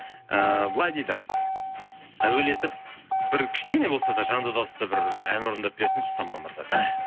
ііі былай дейді әуелетіп бір кішкене болса да жанды дауыста бір ән орындап берсінші самал мырза